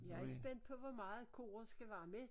Jeg er spændt på hvor meget koret skal være med